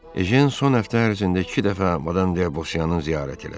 Ejen son həftə ərzində iki dəfə Madan Debosyanın ziyarət elədi.